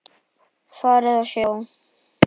Farið og sjá!